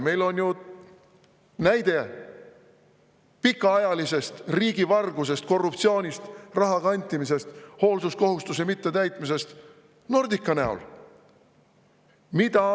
Meil on ju pikaajalise riigivarguse, korruptsiooni, raha kantimise, hoolsuskohustuse mittetäitmise näide Nordica näol.